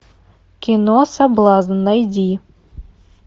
кино соблазн найди